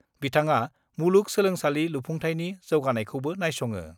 बिथाङा मुलुग सोलोंसालि लुफुंथायनि जौगानायखौबो नायस'ङो।